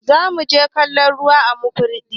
zamu je kallon ruwa a Makurdi